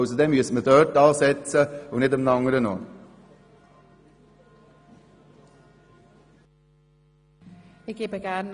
Aber dann müsste man dort ansetzen und nicht an einem anderen Ort.